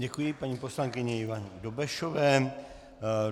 Děkuji paní poslankyni Ivaně Dobešové.